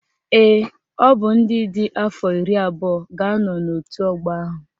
Ee, ọ bụ ndị dị afọ iri abụọ ga-anọ n'otu ọgbọ ahụ